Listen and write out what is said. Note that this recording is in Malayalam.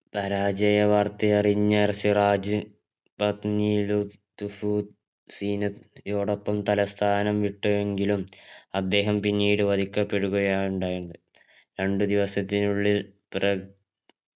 പരാജയ വാർത്തയറിഞ്ഞ സിറാജ് പത്നി യോടൊപ്പം തലസ്ഥാനം വിട്ടുവെങ്കിലും അദ്ദേഹം പിന്നീട് വധിക്കപ്പെടുകയാണ് ഉണ്ടായത് രണ്ടുദിവസത്തിനുള്ളിൽ